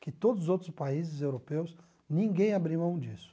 Que todos os outros países europeus, ninguém abriu mão disso.